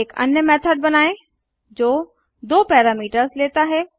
एक अन्य मेथड़ बनाएँ जो दो पैरामीटर्स लेता है